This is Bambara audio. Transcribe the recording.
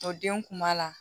O den kun b'a la